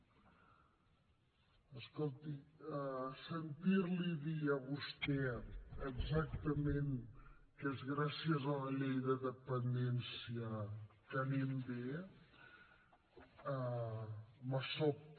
escolti sentir li dir a vostè exactament que és gràcies a la llei de dependència que anem bé em sobta